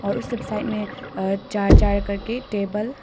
और सब साइड में चार चार करके टेबल --